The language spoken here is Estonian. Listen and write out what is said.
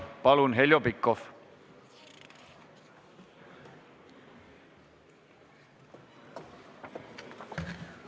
Palun, Heljo Pikhof!